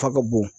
Ta ka bon